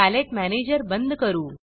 palette manager बंद करू